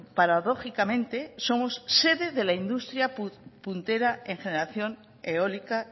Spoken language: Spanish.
paradójicamente somos sede de la industria puntera en generación eólica